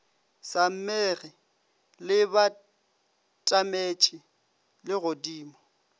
sa mmege le batametše legodimo